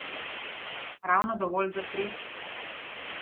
Ravno dovolj za tri.